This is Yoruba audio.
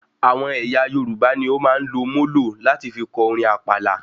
Àwọn ẹyà Yorùbá ní o máa ń lò molo láti fí kọ orin àpàlà